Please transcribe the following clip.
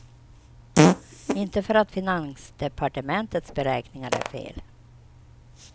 Inte för att finansdepartementets beräkningar är fel.